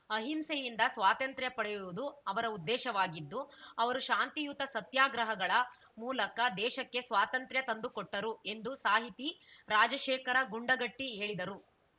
ಅಹಿಂಸೆಯಿಂದ ಸ್ವಾತ್ರಂತ್ರ್ಯ ಪಡೆಯುವುದು ಅವರ ಉದ್ದೇಶವಾಗಿದ್ದು ಅವರು ಶಾಂತಿಯುತ ಸತ್ಯಾಗ್ರಹಗಳ ಮೂಲಕ ದೇಶಕ್ಕೆ ಸ್ವಾತಂತ್ರ್ಯ ತಂದುಕೊಟ್ಟರು ಎಂದು ಸಾಹಿತಿ ರಾಜಶೇಖರ ಗುಂಡಗಟ್ಟಿಹೇಳಿದರು